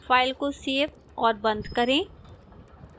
file को save और बंद करें